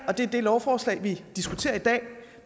og det er det lovforslag vi diskuterer i dag